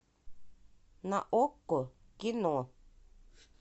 на окко кино